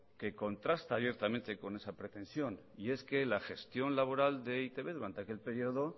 que contrasta abiertamente con esa pretensión y es que la gestión laboral de e i te be durante aquel periodo